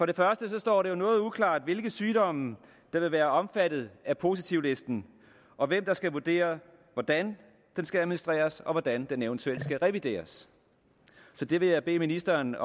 det første står det jo noget uklart hvilke sygdomme der vil være omfattet af positivlisten og hvem der skal vurdere hvordan den skal administreres og hvordan den eventuelt skal revideres så det vil jeg bede ministeren